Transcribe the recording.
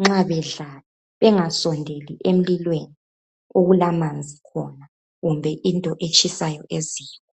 nxa bedlala, bengasondeli emlilweni okulamanzi khona kumbe into etshisayo eziko.